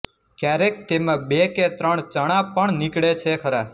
ક્યારેક તેમાં બે કે ત્રણ ચણા પણ નીકળે છે ખરા